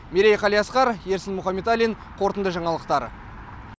мерей қалиасқар ерсін мухаметалин қорытынды жаңалықтар